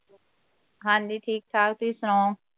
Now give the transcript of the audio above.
ਹਾਂ ਜੀ ਠੀਕ ਠਾਕ ਤੁਹੀਂ ਸੁਣਾਓ